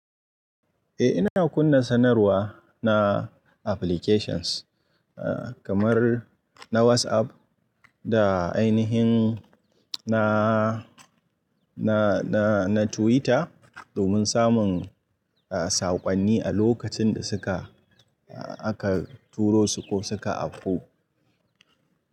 Eh ina kunna sanarwa na applications, eh kamar na WhatsApp da ainihin na, na, na, na Twitter domin samun, eh sakonni a lokacin da suka, aka turo su ko suka afo.